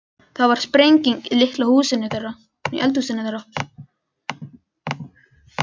Það varð sprenging í litla eldhúsinu þeirra.